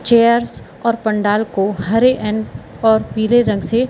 chairs और पंडाल को हेयर एंड और पीले रंग से--